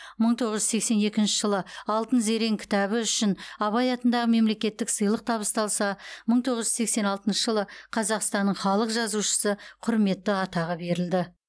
мың тоғыз жүз сексен екінші жылы алтын зерен кітабы үшін абай атындағы мемлекеттік сыйлық табысталса мың тоғыз жүз тоқсан алтыншы жылы қазақстанның халық жазушысы құрметті атағы берілді